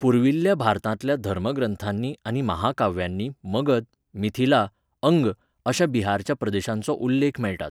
पुर्विल्ल्या भारतांतल्या धर्मग्रंथांनी आनी महाकाव्यांनी मगध, मिथिला, अंग अशा बिहारच्या प्रदेशांचो उल्लेख मेळटात.